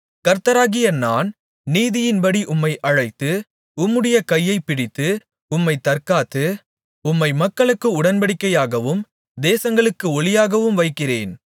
கர்த்தராகிய நான் நீதியின்படி உம்மை அழைத்து உம்முடைய கையைப் பிடித்து உம்மைத் தற்காத்து உம்மை மக்களுக்கு உடன்படிக்கையாகவும் தேசங்களுக்கு ஒளியாகவும் வைக்கிறேன்